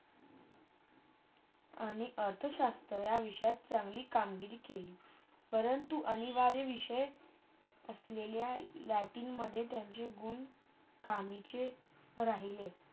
आणि अर्थशास्त्र त्यांनी चंगली कामगिरी केली. परंतु अनिवाडी विषय असलेल्या लॅटिंगमधे त्यांचे गुण कामीचे राहिले.